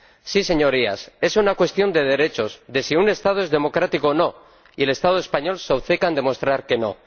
Sí señorías, es una cuestión de derechos, de si un Estado es democrático o no y el Estado español se obceca en demostrar que no.